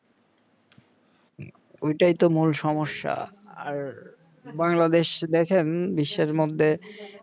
ঐটাই তো মূল সমস্যা আর বাংলাদেশ দেখেন বিশ্বের মধ্যে